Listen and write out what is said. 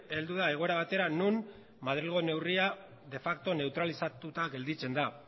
heldu da egoera batera non madrilgo neurria de facto neutralizatuta gelditzen da